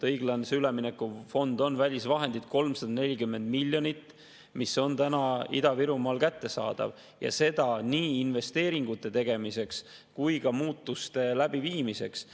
Õiglase ülemineku fondist on 340 miljonit välisvahendeid Ida-Virumaal kättesaadavad nii investeeringute tegemiseks kui ka muutuste läbiviimiseks.